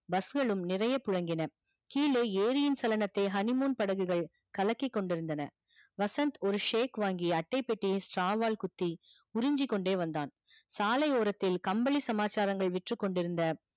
bus களும் நிறைய புழங்கின கீலே ஏரியின் honey moon படகுகள் கலக்கி கொண்டு இருந்தன வசந்த் ஒரு shake வாங்கி அட்டை பெட்டியை straw வாழ் குத்தி உறுஞ்சிக்கொண்டே வந்தான் சாலை ஓரத்தில் கம்பிலி சமாச்சாரங்கள் விற்று கொண்டிருந்த